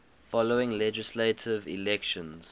following legislative elections